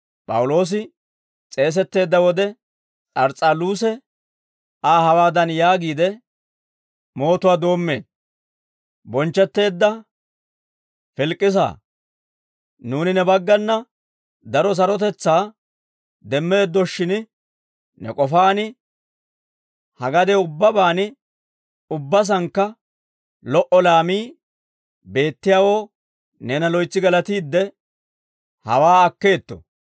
P'awuloosi s'eesetteedda wode, S'ars's'aluuse Aa hawaadan yaagiide, mootuwaa doommeedda. «Bonchchetteedda Filikisaa, nuuni ne baggana daro sarotetsaa demmeeddoshshin, ne k'ofaan ha gadiyaw ubbabaan ubbasankka lo"o laamii beettiyaawoo neena loytsi galatiide, hawaa akkeetto.